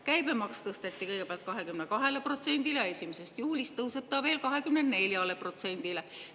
Käibemaks tõsteti kõigepealt 22%‑le, 1. juulist tõuseb see veel, 24%‑le.